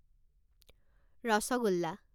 rasgulla